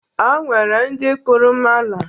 O nwere ndị kpụrụ mala.